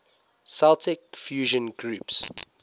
celtic fusion groups